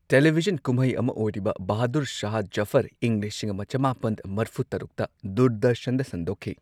Television ꯀꯨꯝꯍꯩ ꯑꯃ ꯑꯣꯏꯔꯤꯕ ꯕꯍꯥꯗꯨꯔ ꯁꯍꯥꯍ ꯖꯐꯔ, ꯏꯪ ꯂꯤꯁꯤꯡ ꯑꯃ ꯆꯃꯥꯄꯟ ꯃꯔꯐꯨ ꯇꯔꯨꯛꯇ ꯗꯨꯔꯗꯔꯁꯟꯗ ꯁꯟꯗꯣꯛꯈꯤ꯫